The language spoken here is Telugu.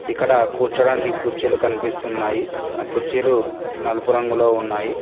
ఇక్కడ కూర్చోడానికి కుర్చీలు కన్పిస్తున్నాయి ఆ కుర్చీలు నలుపు రంగులో ఉన్నాయి.